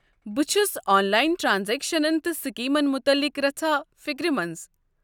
بہٕ چھُس آنلاین ٹرٛانزیکشنن تہٕ سکیمن متعلق رژھا فکرمنٛز۔